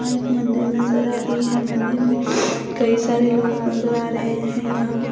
यहां एक मंदिर नजर आ रही है मंदिर में कई सारे लोग नजर आ रहे हैं यहां पे।